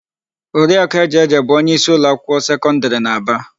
Oriakụ Ejeje bụ onyeísí ụlọakwụkwọ sekọndịrị n'Aba.